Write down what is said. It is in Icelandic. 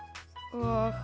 og